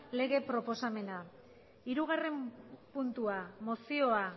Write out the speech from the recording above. lege proposamena hirugarren puntua mozioa